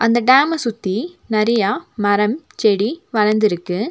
அந்த டேம்ம சுத்தி நெறையா மரம் செடி வளந்துருக்கு.